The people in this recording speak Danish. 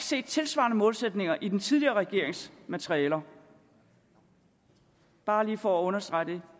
set tilsvarende målsætninger i den tidligere regerings materialer bare lige for at understrege